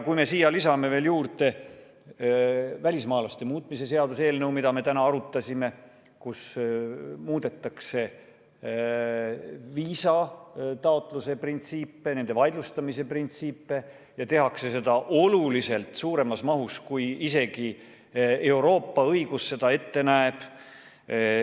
Lisame siia juurde veel välismaalaste seaduse muutmise seaduse eelnõu, mida me täna siin arutasime ning millega muudetakse viisataotluse printsiipe ja viisade vaidlustamise printsiipe ning tehakse seda isegi oluliselt suuremas mahus, kui Euroopa õigus seda ette näeb.